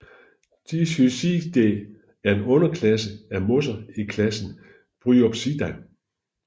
Diphysciidae er en underklasse af mosser i klassen Bryopsida